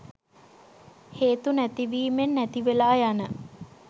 හේතු නැතිවීමෙන් නැතිවෙලා යන